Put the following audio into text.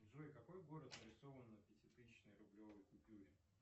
джой какой город нарисован на пятитысячной рублевой купюре